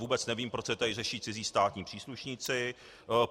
Vůbec nevím, proč se tady řeší cizí státní příslušníci.